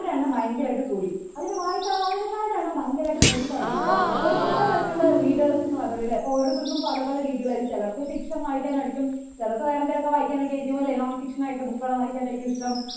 എണ്ണം ഭയങ്കര ആയിട്ട് കൂടി അങ്ങനെ വായനക്കാരുടെ എണ്ണം ഭയങ്കര ആയിട്ട് കൂടി അങ്ങനെ വായനക്കാരുടെ എണ്ണം ഭയങ്കര ആയിട്ട് കൂട്ടി തുടങ്ങിയപ്പോൾ അവർ പല തരത്തിൽ ഉള്ള readers നെ വന്നു തുടങ്ങി അല്ലേ അപ്പോൾ ഓരോരുത്തർക്ക് പല പല രീതികളായിരിക്കും, ചിലർക്കു fiction വായിക്കാൻ ആയിരിക്കും ചിലർക്ക് വേറേ എന്തെങ്കിലും വായിക്കാൻ ഒക്കെ ആയിരിക്കും അല്ലേ non fiction ആയിട്ടുള്ള book കൾ വായിക്കാൻ ആയിരിക്കും ഇഷ്ടം